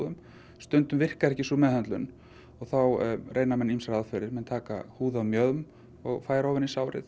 stundum virkar ekki sú meðhöndlun og þá reyna menn ýmsar aðferðir taka húð af mjöðm og færa ofan á sárið